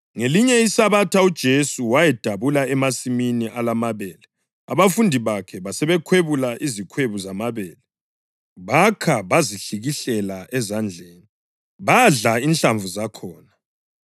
Ngelinye iSabatha uJesu wayedabula emasimini alamabele, abafundi bakhe basebekhwebula izikhwebu zamabele, bakha bazihlikihlela ezandleni, badla inhlamvu zakhona.